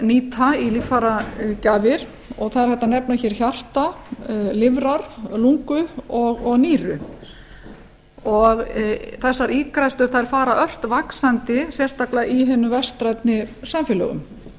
nýta í líffæragjafir og það er hægt að nefna hjarta lifrar lungu og nýru þessar ígræðslur fara ört vaxandi sérstaklega í hinum vestrænu samfélögum